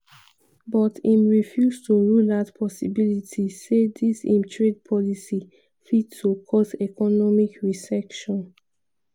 but im refuse to rule out possibility say dis im trade policy fit to cause economic recession.